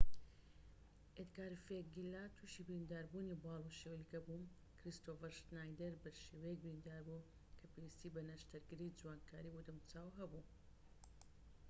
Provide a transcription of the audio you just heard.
ئێدگار ڤێگیلا توشی برینداربوونی باڵ و شەویلگە بوو کریستۆفەر شنایدەر بە شێوەیەك بریندار بوو کە پێویستی بە نەشتەرگەری جوانکاریی بۆ دەموچاو هەبوو